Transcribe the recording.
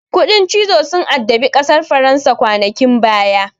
Kuɗin cizo sun addabi ƙasar faransa kwanakin baya.